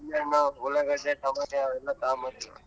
ಉಳ್ಳಾಗಡ್ಡಿ, tomato ಅವೆಲ್ಲಾ ತಗೊಂಬಂದೆ.